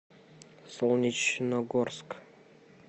солнечногорск